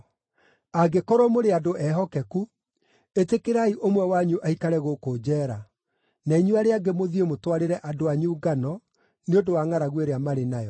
Angĩkorwo mũrĩ andũ ehokeku, ĩtĩkĩrai ũmwe wanyu aikare gũkũ njeera, na inyuĩ arĩa angĩ mũthiĩ mũtwarĩre andũ anyu ngano nĩ ũndũ wa ngʼaragu ĩrĩa marĩ nayo.